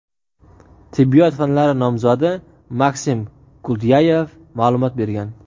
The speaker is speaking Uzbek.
tibbiyot fanlari nomzodi Maksim Gultyayev ma’lumot bergan.